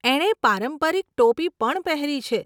એણે પારંપરિક ટોપી પણ પહેરી છે.